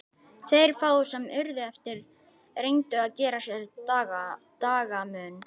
Þeir fáu sem urðu eftir reyndu að gera sér dagamun.